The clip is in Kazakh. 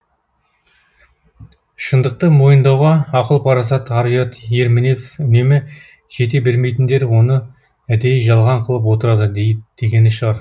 шындықты мойындауға ақыл парасат ар ұят ер мінез үнемі жете бермейтіндер оны әдейі жалған қылып отырады дегені шығар